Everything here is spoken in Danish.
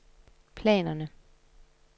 planerne